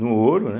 No ouro, né?